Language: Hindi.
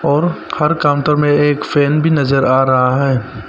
और हर काउंटर में एक फैन भी नजर आ रहा है।